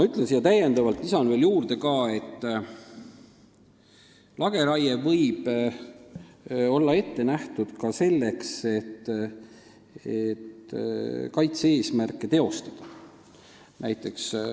Ma lisan siia juurde, et lageraie võib olla ette nähtud ka selleks, et kaitse-eesmärke ellu viia.